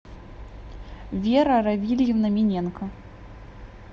вера равильевна миненко